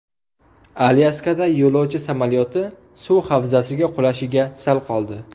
Alyaskada yo‘lovchi samolyoti suv havzasiga qulashiga sal qoldi.